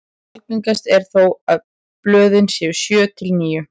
Algengast er þó að blöðin séu sjö til níu.